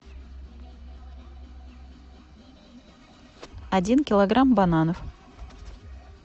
один килограмм бананов